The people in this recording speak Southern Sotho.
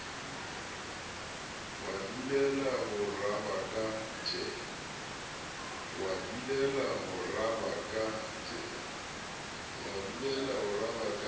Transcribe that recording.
wa dulela ho rabaka tje